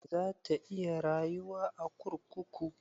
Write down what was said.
Za ta iya rayuwa a kurkuku?